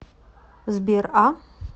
сбер а